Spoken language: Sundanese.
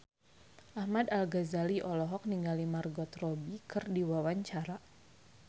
Ahmad Al-Ghazali olohok ningali Margot Robbie keur diwawancara